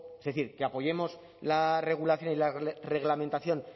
es decir que apoyemos la regulación y reglamentación